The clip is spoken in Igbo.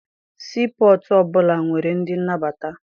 Sii pọtụ ọbụla nwere ndị nnabata.